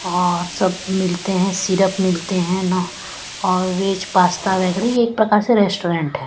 औऔर सब मिलते हैं सिरप मिलते हैं ना और वेज पास्ता वगैर ये एक प्रकार से रेस्टोरेंट है।